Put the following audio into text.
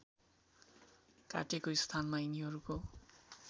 काटेको स्थानमा यिनीहरूको